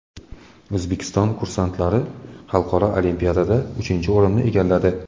O‘zbekiston kursantlari xalqaro olimpiadada uchinchi o‘rinni egalladi.